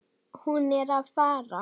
Hún er að fara.